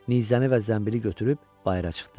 Nizəni və zənbili götürüb bayıra çıxdı.